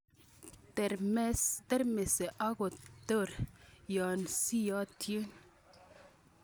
Termese ak koter yon soiyotin